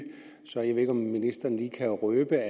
så jeg ved ikke om ministeren lige kan røbe